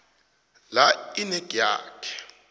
la inac yakhe